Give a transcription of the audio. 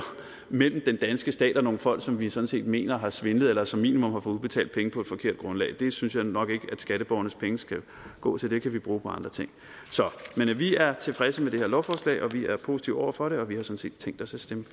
mellem den danske stat og nogle folk som vi sådan set mener har svindlet eller som minimum har udbetalt penge på et forkert grundlag det synes jeg nok ikke at skatteborgernes penge skal gå til dem kan vi bruge på andre ting men vi er tilfredse med det her lovforslag vi er positive over for det og vi har sådan set tænkt os at stemme